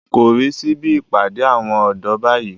Korí síbi ìpàdé àwọn ọ̀dọ́ báyìí